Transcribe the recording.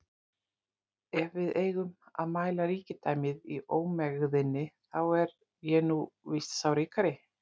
Ef við eigum að mæla ríkidæmið í ómegðinni, þá er ég nú víst sá ríkari